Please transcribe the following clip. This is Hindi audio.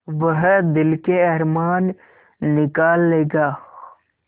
वह दिल के अरमान निकाल लेगा